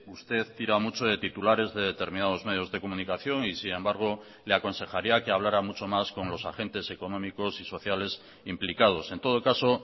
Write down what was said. usted tira mucho de titulares de determinados medios de comunicación y sin embargo le aconsejaría que hablara mucho más con los agentes económicos y sociales implicados en todo caso